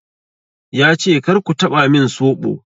Ya ce "kar ku taɓa min soɓo!'